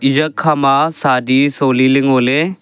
yakhama sadi sholi ley ngoley.